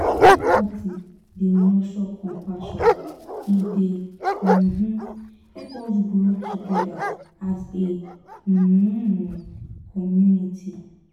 empathy dey nurture compassion; e dey um help us grow together as a um community.